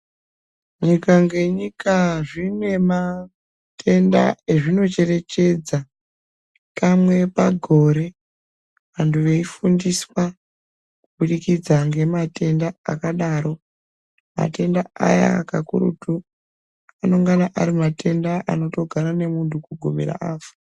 Nyika ngenyika zvine matenda ezvinocherechedza kamwe pagore, vanthu veifundiswa kubudikidza ngematenda akadaro. Matenda aya kakurutu, anengana ari matenda anotogara nemunhu kugumira afa.